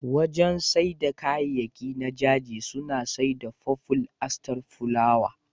Wajen saida kayayakin na Jiji suna saida faful Aster fulawa.